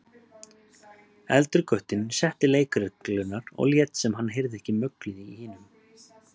Eldri guttinn setti leikreglurnar og lét sem hann heyrði ekki möglið í hinum.